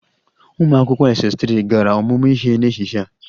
Ụmụ akwụkwọ Ss3 gara ọmụmụ ihe n'ehihie a?